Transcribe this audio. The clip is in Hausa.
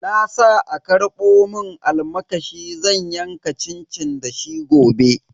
Na sa a karbo mun almakashi zan yanka cincin da shi gobe.